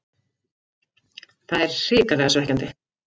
Það er hrikalega svekkjandi.